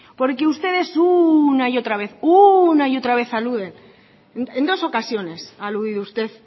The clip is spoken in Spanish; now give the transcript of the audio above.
porque ustedes una y otra vez una y otra vez aluden en dos ocasiones ha aludido usted